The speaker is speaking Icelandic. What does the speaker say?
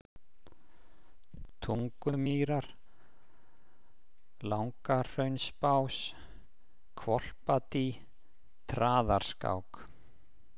Tungumýrar, Langahraunsbás, Hvolpadý, Traðarskák